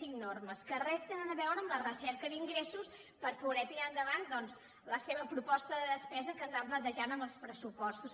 cinc normes que res tenen a veure amb la recerca d’ingressos per poder tirar endavant doncs la seva proposta de despesa que ens ha plantejat amb els pressupostos